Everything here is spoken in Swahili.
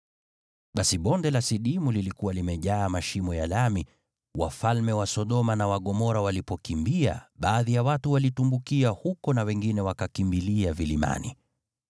Basi Bonde la Sidimu lilikuwa limejaa mashimo ya lami, nao wafalme wa Sodoma na wa Gomora walipokimbia, baadhi ya watu walitumbukia huko na wengine wakakimbilia vilimani.